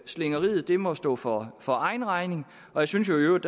slingringen må stå for for egen regning jeg synes jo i øvrigt